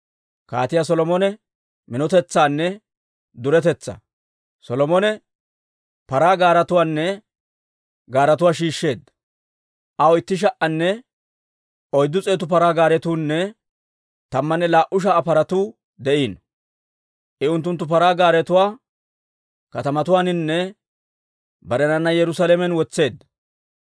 Solomone paraa gaaretuwaanne paratuwaa shiishsheedda. Aw itti sha"anne oyddu s'eetu paraa gaaretuunne tammanne laa"u sha"a paratuu de'iino. I unttunttu paraa gaaretuwaa katamatuwaaninne barenana Yerusaalamen wotseedda.